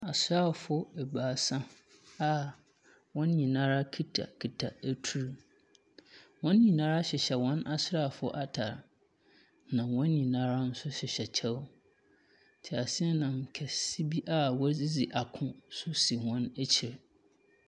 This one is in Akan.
Asraafo ebiasa a wɔn nyinara kitakita etur, wɔn nyinara hyehyɛ hɔn asraafo atar na wɔn nyinara so hyehyɛ kyɛw tseaseanam kɛse bi a wɔdze dzi ako so si hɔn ekyir.